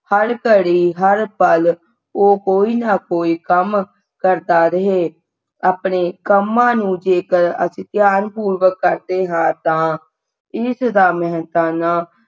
ਹਰ ਘੜੀ ਹਰ ਪਲ ਉਹ ਕੋਈ ਨਾ ਕੋਈ ਕੰਮ ਕਰਦਾ ਰਹੇ ਆਪਣੇ ਕਮਾਂ ਨੂੰ ਜੇਕਰ ਅਸੀਂ ਧਿਆਨਪੁਰਵਕ ਕਰਦੇ ਹਾਂ ਤਾਂ ਇਸ ਦਾ ਮਿਹਨਤਾਨਾ